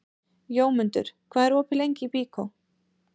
Jómundur, hvað er opið lengi í Byko?